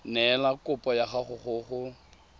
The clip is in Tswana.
neela kopo ya gago go